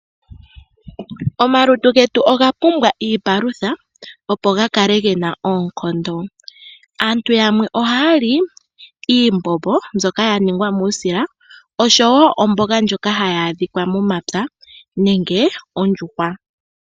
Omalutu getu oga pumbwa iipalutha opo ga kale gena oonkondo. Aantu yamwe ohayali iimbombo mbyoka ya ningwa muusila oshowo omboga ndjoka hayi adhika momapya nenge ondjuhwa.